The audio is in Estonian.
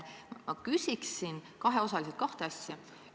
Ma küsin siiski kahte asja.